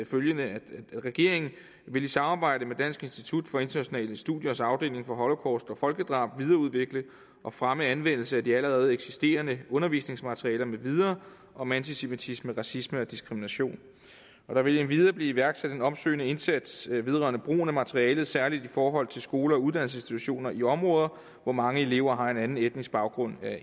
følgende regeringen vil i samarbejde med dansk institut for internationale studiers afdeling for holocaust og folkedrab videreudvikle og fremme anvendelsen af de allerede eksisterende undervisningsmaterialer med videre om antisemitisme racisme og diskrimination der vil endvidere blive iværksat en opsøgende indsats vedrørende brugen af materialet særligt i forhold til skoler og uddannelsesinstitutioner i områder hvor mange elever har en anden etnisk baggrund